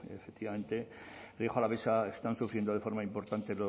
efectivamente rioja alavesa está sufriendo de forma importante